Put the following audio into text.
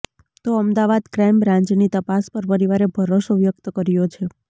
તો અમદાવાદ ક્રાઇમ બ્રાન્ચની તપાસ પર પરિવારે ભરોસો વ્યકત કર્યો છે